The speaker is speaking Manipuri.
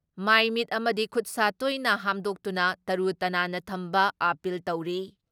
ꯃꯥꯏ ꯃꯤꯠ ꯑꯃꯗꯤ ꯈꯨꯠ ꯁꯥ ꯇꯣꯏꯅ ꯍꯥꯝꯗꯣꯛꯇꯨꯅ ꯇꯔꯨ ꯇꯅꯥꯟꯅ ꯊꯝꯕ ꯑꯥꯄꯤꯜ ꯇꯧꯔꯤ ꯫